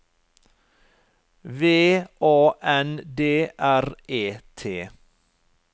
V A N D R E T